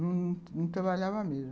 Não trabalhava mesmo.